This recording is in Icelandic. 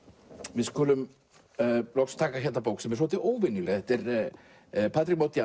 við skulum loks taka hérna bók sem er óvenjuleg þetta er Patrick Modiano